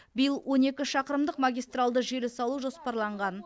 биыл он екі шақырымдық магистралды желі салу жоспарланған